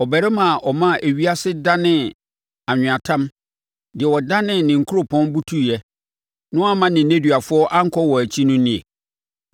ɔbarima a ɔmaa ewiase danee anweatam, deɛ ɔdanee ne nkuropɔn butuiɛ na wamma ne nneduafoɔ ankɔ wɔn nkyi no nie?”